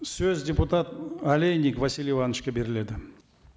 сөз депутат олейник василий ивановичке беріледі